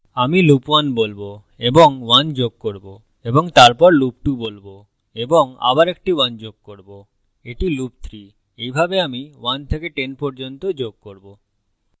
আমি loop 1 বলবো এবং 1 যোগ করব এবং তারপর loop 2 বলবো এবং আবার একটি 1 যোগ করব; এটি loop 3 আমি এইভাবে 1 থেকে 10 পর্যন্ত যোগ করবো